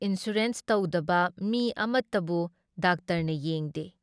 Insurance ꯇꯧꯗꯕ ꯃꯤ ꯑꯃꯠꯇꯕꯨ ꯗꯥꯛꯇꯔꯅ ꯌꯦꯡꯗꯦ ꯫